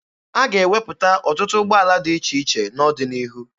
A ga-ewepụta ọtụtụ ụgbọala dị iche iche n'ọdịnihu.